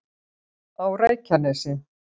á reykjanesi